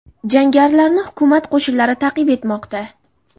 Jangarilarni hukumat qo‘shinlari ta’qib etmoqda.